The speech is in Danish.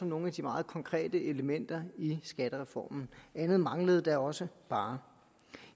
nogle af de meget konkrete elementer i skattereformen andet manglede da også bare